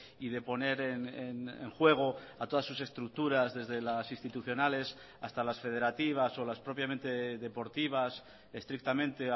y de poner en juego a todas sus estructuras desde las institucionales hasta las federativas o las propiamente deportivas estrictamente